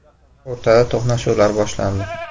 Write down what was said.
O‘rtada to‘qnashuvlar boshlandi.